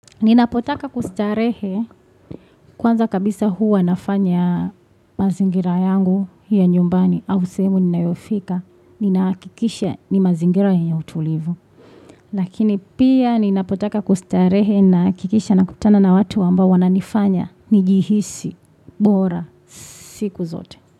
Ninapotaka kustarehe kwanza kabisa huwa nafanya mazingira yangu ya nyumbani au semu ninayofika. Ninakikisha ni mazingira ya utulivu. Lakini pia ninapotaka kustarehe nakikisha nakutana na watu wambao wananifanya. Nijihisi. Bora. Siku zote.